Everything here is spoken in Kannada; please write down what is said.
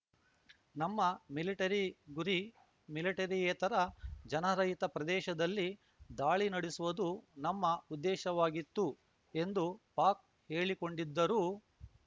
ನಮ್ಮ ಮಿಲಿಟರಿ ಗುರಿ ಮಿಲಿಟರಿಯೇತರ ಜನರಹಿತ ಪ್ರದೇಶದಲ್ಲಿ ದಾಳಿ ನಡೆಸುವುದು ನಮ್ಮ ಉದ್ದೇಶವಾಗಿತ್ತು ಎಂದು ಪಾಕ್‌ ಹೇಳಿಕೊಂಡಿದ್ದರೂ